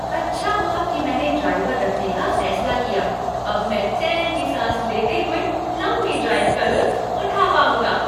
अच्छा हुआ कि मैंने ड्राइवर रखने का फैसला किया। अब मैं चैन की सांस लेते हुए लंबी ड्राइव का लुत्फ़ उठा पाऊँगा।